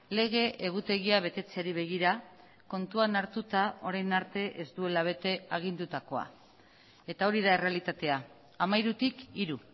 lege egutegia betetzeari begira kontuan hartuta orain arte ez duela bete agindutakoa eta hori da errealitatea hamairutik hiru